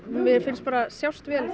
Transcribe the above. mér finnst sjást vel